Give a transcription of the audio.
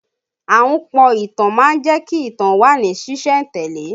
Ahunpọ̀ ìtàn má ń jẹ́ kí ìtàn ó wà ní sìsẹ̀ntele